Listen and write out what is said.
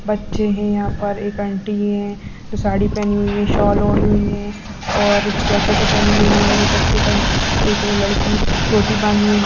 बच्चे हैं यहाँ पर एक आंटी हैं जो साड़ी पहनी हुई हैं शौल ओढी हुई हैं और जैकेट पहनी हुई है एक अट एक अंट एक लड़की चोटी बाँधी हुई --